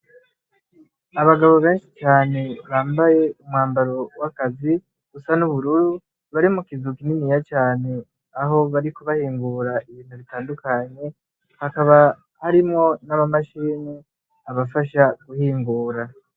Abagabo benshi cane bambaye umwambaro w'akazi busa n'uburur bari mu kizuka ininiya cane aho bari kubahingura ibintu bitandukanye hakaba harimwo n'abamashini abafasha guhingura.